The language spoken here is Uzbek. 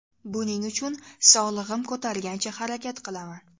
Buning uchun sog‘lig‘im ko‘targancha harakat qilaman.